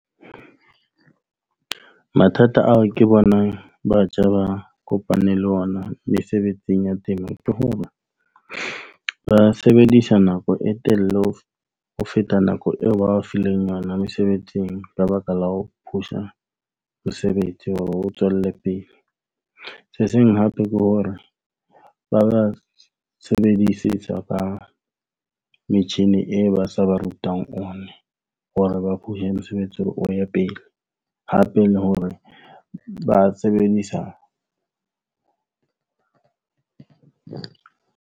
Mathata ao ke bonang batjha ba kopaneng le ona mesebetsing ya temo, ke hore ba sebedisa nako e telele ho feta nako eo ba o fileng yona mesebetsing. Ka baka la ho phusa mosebetsi hore o tswelle pele. Se seng hape ke hore ba ba sebedisetsa ka metjhine e ba sa ba rutang hape, le hore ba sebedisa .